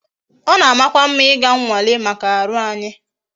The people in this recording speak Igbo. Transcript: It is good to go for medical tests